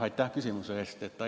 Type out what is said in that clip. Aitäh küsimuse eest!